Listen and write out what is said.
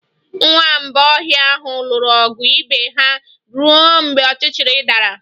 Nwamba ọhịa ahụ lụrụ ọgụ ibe ha ruo mgbe ọchịchịrị dara